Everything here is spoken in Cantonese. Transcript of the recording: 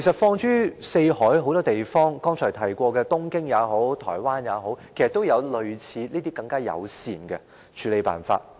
放眼四海，正如剛才提過的東京和台灣，有關當局其實也訂定類似單車友善的處理辦法。